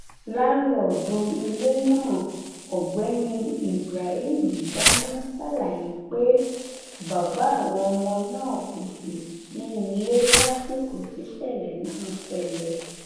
làǹlóòdù ilé náà ọgbẹni ibrahim gánà ṣàlàyé pé bàbá àwọn ọmọ náà kò sí nílé lásìkò tíṣẹlẹ náà ṣẹlẹ